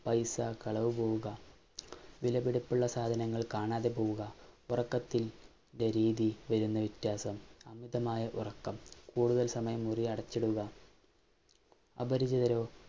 പൈസ കളവു പോവുക, വിലപിടിപ്പുള്ള സാധനങ്ങള്‍ കാണാതെ പോവുക, ഉറക്കത്തി~ന്‍റെ രീതിയില്‍ വരുന്ന വ്യത്യാസം, അമിതമായ ഉറക്കം, കൂടുതല്‍ സമയം മുറി അടച്ചിടുക അപരിചിതരോ